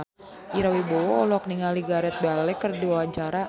Ira Wibowo olohok ningali Gareth Bale keur diwawancara